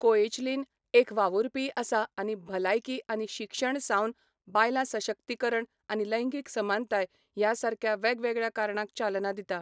Koechlin एक वावुरपीय आसा आनी भलायकी आनी शिक्षण सावन बायलां सशक्तीकरण आनी लैंगिक समानताय ह्या सारक्या वेगवेगळ्या कारणांक चालना दिता.